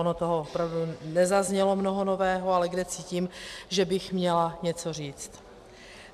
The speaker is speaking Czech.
Ono toho opravdu nezaznělo mnoho nového, ale kde cítím, že bych měla něco říci.